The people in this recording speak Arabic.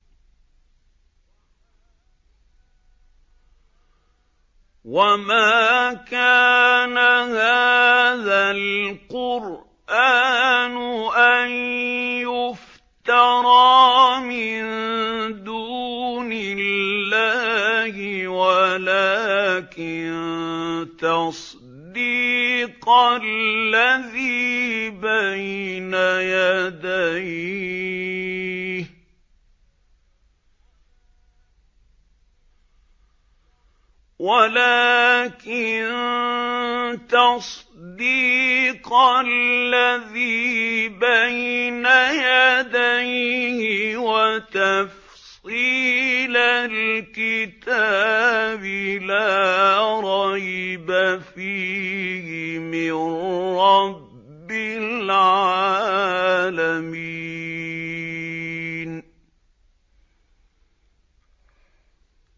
وَمَا كَانَ هَٰذَا الْقُرْآنُ أَن يُفْتَرَىٰ مِن دُونِ اللَّهِ وَلَٰكِن تَصْدِيقَ الَّذِي بَيْنَ يَدَيْهِ وَتَفْصِيلَ الْكِتَابِ لَا رَيْبَ فِيهِ مِن رَّبِّ الْعَالَمِينَ